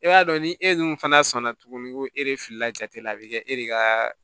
E b'a dɔn ni e dun fana sɔnna tuguni ko e de filila jate la a bɛ kɛ e de kaaa